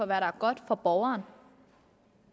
der er godt for borgeren